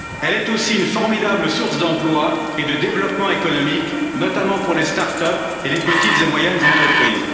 Elle est aussi une formidable source d'emplois et de développement économique, notamment pour les start up et les petites et moyennes entreprises.